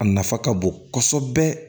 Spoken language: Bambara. A nafa ka bon kɔsɛbɛ